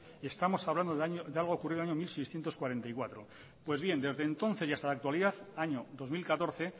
estamos hablando de algo que ocurrió en el año mil seiscientos cuarenta y cuatro pues bien desde entonces y hasta la actualidad año dos mil catorce